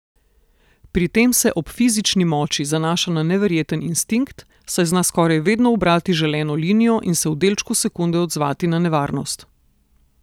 Pri tem se ob fizični moči zanaša na neverjeten instinkt, saj zna skoraj vedno ubrati želeno linijo in se v delčku sekunde odzvati na nevarnost.